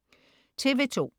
TV2: